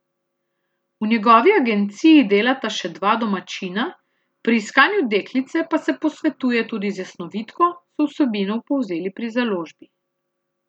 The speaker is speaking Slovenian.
V njegovi agenciji delata še dva domačina, pri iskanju deklice pa se posvetuje tudi z jasnovidko, so vsebino povzeli pri založbi.